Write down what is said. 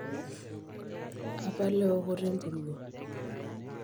apal eokoto empuruo.